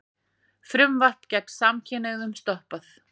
Frumvarp gegn samkynhneigðum stoppað